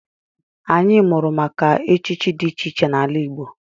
Anyị mụrụ maka echichi dị iche iche n'ala Igbo.